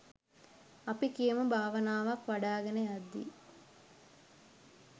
අපි කියමු භාවනාවක් වඩාගෙන යද්දී